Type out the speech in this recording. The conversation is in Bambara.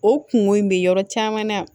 O kungo in bɛ yɔrɔ caman na